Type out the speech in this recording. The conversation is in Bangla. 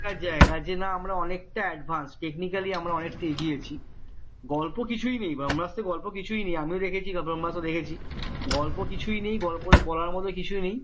জায়গা যে না আমরা অনেকটাই advance technically আমরা অনেকটাই গিয়েছি গল্প কিছুই নেই ব্রম্ভাস্ত্র গল্প কিছুই নেই আমরা দেখেছি গল্প কিছুই নেই গল্প বলার মতো কিছু নেই কিন্তু ঐ